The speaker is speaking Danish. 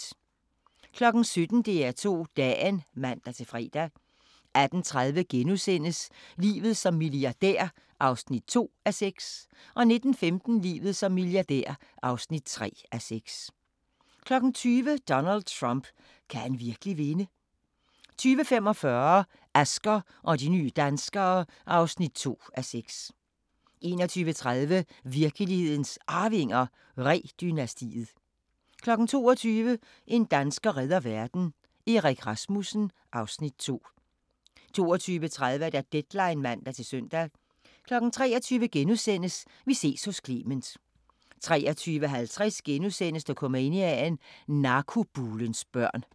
17:00: DR2 Dagen (man-fre) 18:30: Livet som milliardær (2:6)* 19:15: Livet som milliardær (3:6) 20:00: Donald Trump – kan han virkelig vinde? 20:45: Asger og de nye danskere (2:6) 21:30: Virkelighedens Arvinger: Ree-dynastiet 22:00: En dansker redder verden – Erik Rasmussen (Afs. 2) 22:30: Deadline (man-søn) 23:00: Vi ses hos Clement * 23:50: Dokumania: Narkobulens børn *